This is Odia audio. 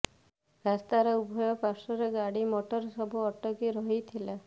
ରାସ୍ତାର ଉଭୟ ପାର୍ଶ୍ୱରେ ଗାଡି ମୋଟର ସବୁ ଅଟକି ରହିଥିଲା